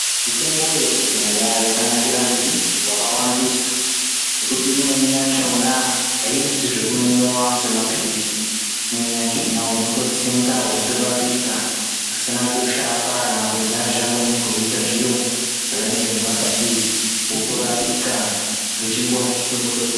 Mitombo yekudhaya yakanakira zvakawandisa ngokuti imweni yachona aiiti zvekumwiwa semapirizi, imweni yachona unototsenga weitorapika pasina kushata kana kuzhazha kunenge kweiita zviro zvakadai ngemapirizi otorapika ngechinguwa chidoko-doko.